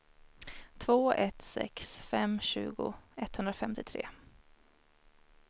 två ett sex fem tjugo etthundrafemtiotre